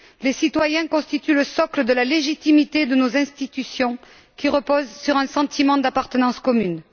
Les citoyens constituent le socle de la légitimité de nos institutions qui repose sur un sentiment d'appartenance commune.